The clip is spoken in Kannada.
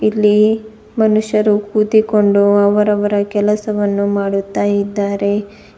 ಇಲ್ಲಿ ಮನುಷ್ಯರು ಕೂತಿಕೊಂಡು ಅವರವರ ಕೆಲಸವನ್ನು ಮಾಡುತ್ತಾ ಇದ್ದಾರೆ.